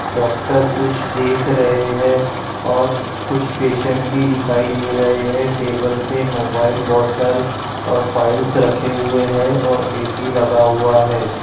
Doctor कुछ देख रहे है और कुछ पेशंट भी दिखाई दे रहे है। टेबल पे मोबाइल बोटल और फ़ाइलस रखे हुए है। और ए_सी लगा हुआ है।